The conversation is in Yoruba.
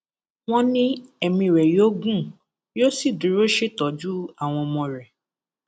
wọn ní ẹmí rẹ yóò gùn yóò sì dúró ṣètọjú àwọn ọmọ rẹ